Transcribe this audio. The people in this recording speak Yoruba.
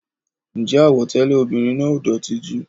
Ǹjẹ́ àwọ̀ tẹlẹ ọmọbìnrin náà ò dótì jù?